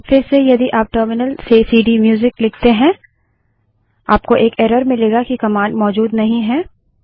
अब फिरसे यदि आप टर्मिनल से सीडीम्यूजिक लिखते हैं आपको एक एरर मिलेगा कि कमांड मौजूद नहीं है